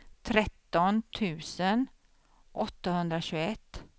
tretton tusen åttahundratjugoett